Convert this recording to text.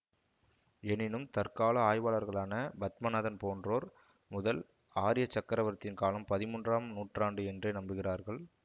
எனினும் தற்கால ஆய்வாளர்களான பத்மநாதன் போன்றோர் முதல் ஆரிய சக்கரவர்த்தியின் காலம் பதிமூன்றாம் நூற்றாண்டு என்றே நம்புகிறார்கள்